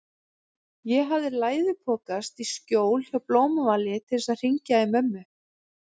Ég hafði læðupokast í skjól hjá Blómavali til að hringja í mömmu.